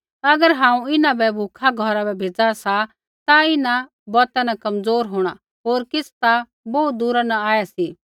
अगर हांऊँ इन्हां बै भूखा घौरा बै भेज़ा सा ता इन्हां बौता न कमज़ोर होंणा होर किछ़ ता बोहू दूरा न आऐ सी